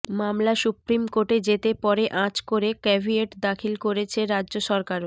মামলা সুপ্রিম কোর্টে যেতে পারে আঁচ করে ক্যাভিয়েট দাখিল করেছে রাজ্য সরকারও